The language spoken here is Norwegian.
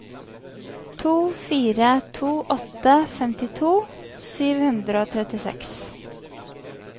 to fire to åtte femtito sju hundre og trettiseks